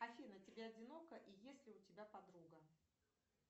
афина тебе одиноко и есть ли у тебя подруга